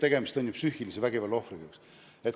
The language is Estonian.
Tegemist on ju psüühilise vägivalla ohvriga.